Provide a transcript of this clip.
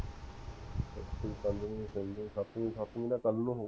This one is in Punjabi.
ਸਤਵੀਂ ਦਾ ਕਲ ਨੂੰ ਹੋਊਗਾ